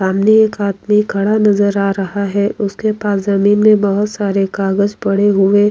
यहाँ बहोत बड़ा फल का दुकान है जिसमें जरूरत के सब फल मिलते हैं और खरीदने जाते हैं और --